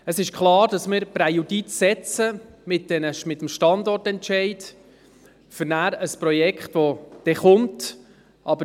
Es ist klar, dass wir mit dem Standortentscheid ein Präjudiz schaffen für ein Projekt, das kommen wird.